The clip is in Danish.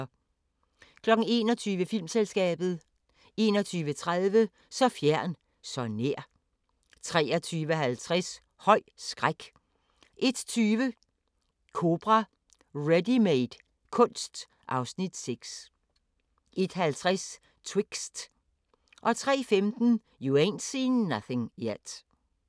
21:00: Filmselskabet 21:30: Så fjern, så nær! 23:50: Høj skræk 01:20: Kobra – "Readymade" kunst (Afs. 6) 01:50: Twixt 03:15: You Ain't Seen Nothin' Yet